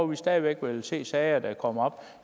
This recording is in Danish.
vi stadig væk vil se sager der kommer op